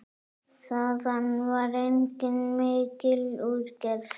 Þaðan var einnig mikil útgerð.